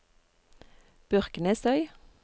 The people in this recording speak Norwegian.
Byrknesøy